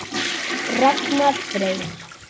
Ragnar Freyr.